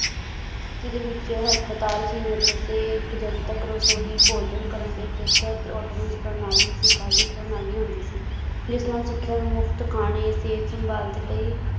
ਜਿਹਦੇ ਵਿੱਚ ਹਸਪਤਾਲ ਸੀ ਮਦਰਸੇ ਇੱਕ ਜਨਤਕ ਰਸੋਈ ਭੋਜਨ ਕਰਨ ਲਈ ਖੇਤਰ ਤੇ ਆਟੋਮੈਨਸ ਪ੍ਰਣਾਲੀ ਪ੍ਰਣਾਲੀ ਹੁੰਦੀ ਸੀ, ਜਿਸ ਨਾਲ ਸਿੱਖਿਆ ਦਾ ਮੁਫ਼ਤ ਖਾਣੇ ਤੇ ਸੰਭਾਂਲ ਤੇ ਕਈ